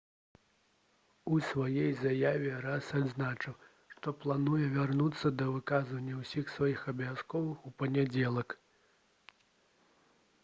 у сваёй заяве арыяс адзначыў «што плануе вярнуцца да выканання ўсіх сваіх абавязкаў у панядзелак»